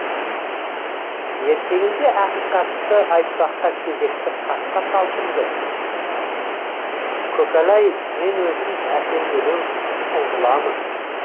ертеңінде ақиқатты айтпаққа кезекті қасқа талпынды көкәләй мен өзім әпенделеу сұңғыламын